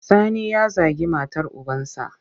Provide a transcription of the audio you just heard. Sani ya zagi matar ubansa.